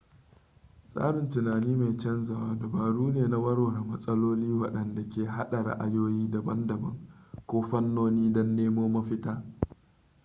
tsarin tunani mai canzawa dabaru ne na warware matsaloli waɗanda ke haɗa ra'ayoyi daban-daban ko fannoni don nemo mafita